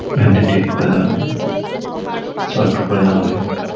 van টা ঠিক করে দেওয়া হয় করা হয়--